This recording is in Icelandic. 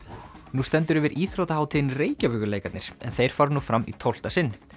nú stendur yfir íþróttahátíðin Reykjavíkurleikarnir en þeir fara nú fram í tólfta sinn